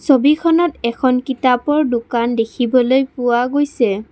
ছবিখনত এখন কিতাপৰ দোকান দেখিবলৈ পোৱা গৈছে।